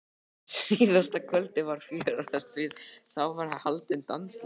En síðasta kvöldið var fjörugast því þá var haldinn dansleikur.